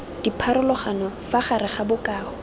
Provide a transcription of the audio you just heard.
dipharologano fa gare ga bokao